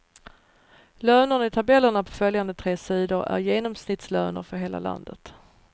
Lönerna i tabellerna på följande tre sidor är genomsnittslöner för hela landet.